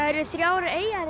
eru þrjár eyjar